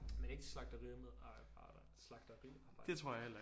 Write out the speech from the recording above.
Men ikke slagteri med slagteriarbejdere